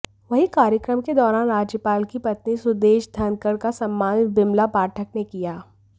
वहीं कार्यक्रम के दौरान राज्यपाल की पत्नी सुदेश धनखड़ का सम्मान बिमला पाठक ने किया